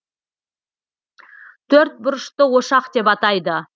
төрт бұрышты ошақ деп атайды